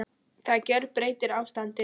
Það gjörbreytir ástandinu